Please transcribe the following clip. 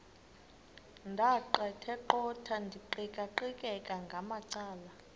ndaqetheqotha ndiqikaqikeka ngamacala